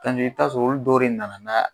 i t'a sɔrɔ olu dɔw de nana n'a